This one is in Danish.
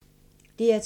DR2